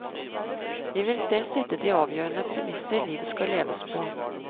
Vi vil selv sette de avgjørende premisser livet skal leves på.